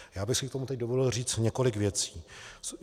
Já bych si k tomu teď dovolil říct několik věcí.